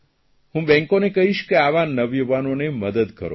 હું બેંકોને કહીશ કે આવા નવયુવાનોને મદદ કરો